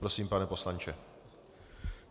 Prosím, pane poslanče.